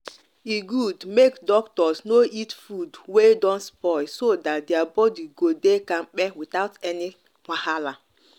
e good make doctors no eat food wey don spoil so that their body go dey kampe without any wahala.